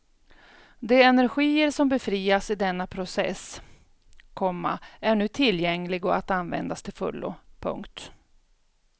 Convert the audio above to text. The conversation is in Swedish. De energier som befrias i denna process, komma är nu tillgängliga att användas till fullo. punkt